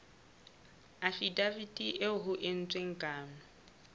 afidaviti eo ho entsweng kano